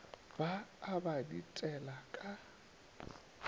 ba a ba ditela ka